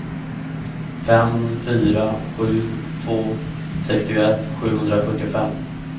fem fyra sju två sextioett sjuhundrafyrtiofem